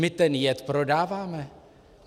My ten jed prodáváme.